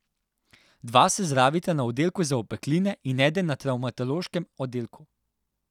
Dva se zdravita na oddelku za opekline in eden na travmatološkem oddelku.